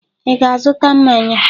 Ị ga azụta mmanya?